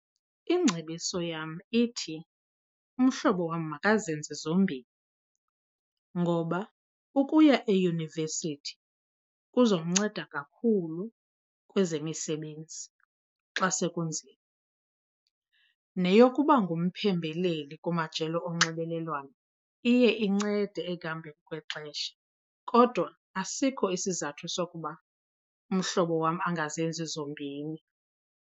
Ingcebiso yam ithi umhlobo wam makazenze zombini. Ngoba ukuya eyunivesithi kuzomnceda kakhulu kwezemisebenzi xa sekunzima, neyokuba ngumphembeleli kumajelo onxibelelwano iye incede ekuhambeni kwexesha. Kodwa asikho isizathu sokuba umhlobo wam angazenzi zombini.